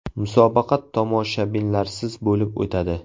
Musobaqa tomoshabinlarsiz bo‘lib o‘tadi.